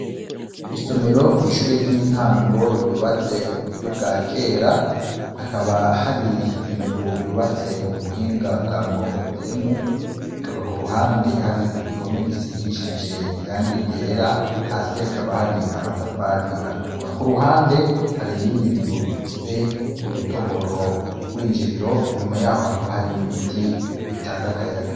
Isomero kwishure ryitango ryubatse muburyo bwa kera hakaba hari inzu yubatse mubuhinga bwa mugongodemu hakaba kuruhande hari igihome gisigishije irangi ryera hasi hakaba hari amatafari atukura, kuruhande hari iyindi nzu ifise udutoboro kurwinjiriro inyuma yaho hakaba hari n'ibiti bitanga akayaga.